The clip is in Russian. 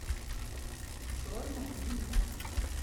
черная земля